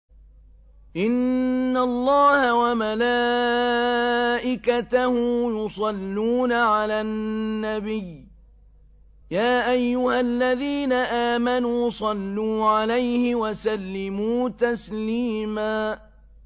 إِنَّ اللَّهَ وَمَلَائِكَتَهُ يُصَلُّونَ عَلَى النَّبِيِّ ۚ يَا أَيُّهَا الَّذِينَ آمَنُوا صَلُّوا عَلَيْهِ وَسَلِّمُوا تَسْلِيمًا